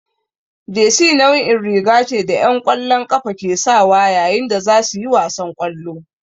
Jesi nau'in riga ce da 'yan ƙwallon ƙafa ke sawa yayin da za su yi wasan ƙwallo.